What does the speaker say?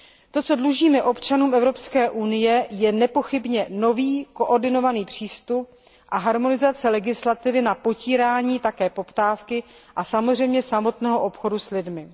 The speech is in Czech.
To, co dlužíme občanům Evropské unie, je nepochybně nový, koordinovaný přístup a harmonizace legislativy na potírání také poptávky a samozřejmě samotného obchodu s lidmi.